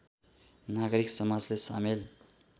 नागरिक समाजलाई सामेल